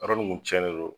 Yɔrɔ nin kun tiɲɛnen don